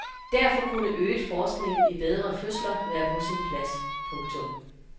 Derfor kunne øget forskning i bedre fødsler være på sin plads. punktum